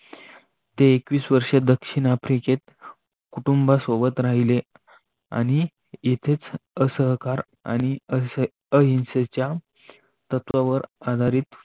ते एकेविस वर्ष दक्षिण आफ्रिकेत कुटुंबासोबत राहिले आणि येथेच असहकार आणि अहिंसेच्या तत्वावर आधारित